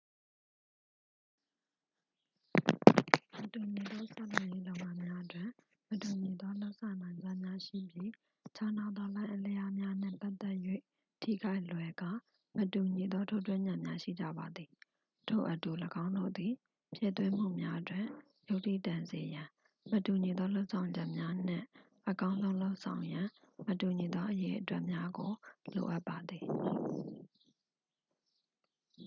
"""မတူညီသောဆောက်လုပ်ရေးများတွင် မတူညီသောလုပ်နိုင်စွမ်းများရှိပြီးခြားနားသောလှိုင်းအလျားများနှင့်ပတ်သက်၍ ထိခိုက်လွယ်ကာ မတူညီသောထိုးထွင်းဉာဏ်များရှိကြပါသည်၊ ထို့အတူ ၎င်းတို့သည် ဖြည့်သွင်းမှုများတွင် ယုတ္ထိတန်စေရန် မတူညီသောလုပ်ဆောင်ချက်များနှင့် အကောင်းဆုံးလုပ်ဆောင်ရန် မတူညီသောအရေအတွက်များကို လိုအပ်ပါသည်။""